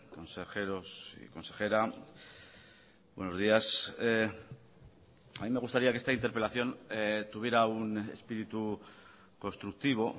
consejeros y consejera buenos días a mí me gustaría que esta interpelación tuviera un espíritu constructivo